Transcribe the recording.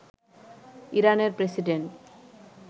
ইরানের প্রেসিডেন্ট